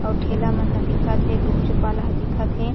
अउ ठेला मन ह दिखत हे गुपचुप वाला ह दिखत हे।